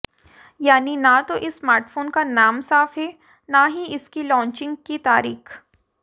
यानी ना तो इस स्मार्टफोन का नाम साफ है ना ही इसकी लॉन्चिंग की तारीख